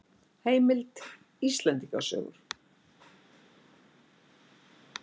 Heimild: Íslendinga sögur.